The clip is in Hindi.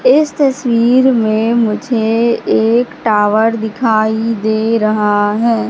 इस तस्वीर में मुझे एक टॉवर दिखाई दे रहा हैं।